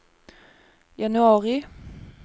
januari